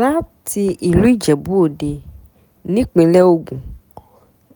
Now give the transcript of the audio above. láti ìlú ijebu-òde nípínlẹ̀ ogun